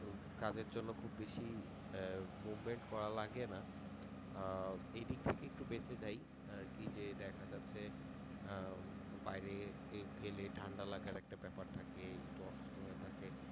কাজের জন্য খুব বেশি আহ movement করা লাগে না আহ এইদিক থেকে একটু বেঁচে যাই আহ কি যে দ্যাখা যাচ্ছে আহ উম বাইরে গেলে ঠান্ডা লাগার একটা ব্যাপার থাকে, একটু হয়ে থাকে